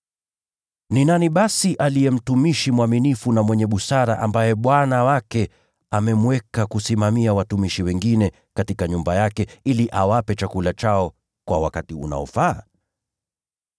“Ni nani basi aliye mtumishi mwaminifu na mwenye busara, ambaye bwana wake amemweka kusimamia watumishi wengine katika nyumba yake, ili awape chakula chao kwa wakati unaofaa?